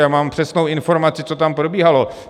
Já mám přesnou informaci, co tam probíhalo.